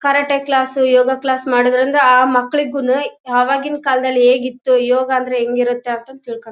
karate class yoga class ಮಾಡೋದ್ರಿಂದ ಆ ಮಕ್ಕಳಿಗೂನೂ ಅವಾಗಿನ ಕಾಲದಲ್ಲಿ ಹೇಗಿತ್ತು ಯೋಗ ಅಂದ್ರೆ ಹೆಂಗಿರುತ್ತೆ ಅಂತ ತಿಳ್ಕೊ--